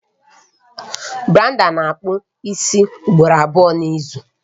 Brandon na-akpụ isi ugboro abụọ n'izu